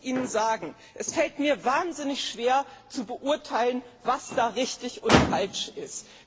Ich muss Ihnen sagen Es fällt mir wahnsinnig schwer, zu beurteilen, was da richtig und falsch ist.